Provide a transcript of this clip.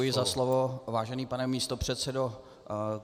Děkuji za slovo, vážený pane místopředsedo.